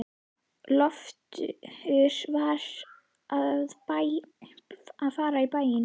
Loftur var að fara í bæinn.